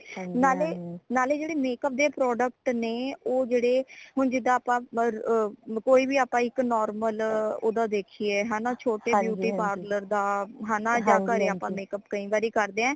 ਨਾਲੇ ਨਾਲੇ ਜੇੜੇ makeup ਦੇ product ਨੇ ਓ ਜੇੜੇ ਹੁਣ ਜਿਦਾ ਆਪਾ ਮ ਕੋਈ ਵੀ ਆਪਾ ਇੱਕ normal ਓਦਾ ਦੇਖੀਏ ਹੈ ਨਾ ਛੋਟੇ beauty parlor ਦਾ ਯਾ ਹੈ ਨਾ ਘਰੇ ਆਪਾ makeup ਕਈ ਵਰੀ ਕਰਦੇ ਹਾਂ